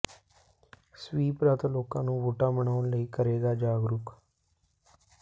SVEEP ਰੱਥ ਲੋਕਾਂ ਨੂੰ ਵੋਟਾਂ ਬਣਾਉਣ ਲਈ ਕਰੇਗਾ ਜਾਗਰੂਕ